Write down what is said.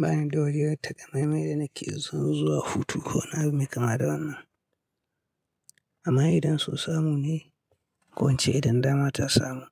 Ba ni da waje na takamaimai da nake son zuwa hutu, ko wani abu me kama wannan. Amma idan son samu ne, ko ince idan dama ta samu.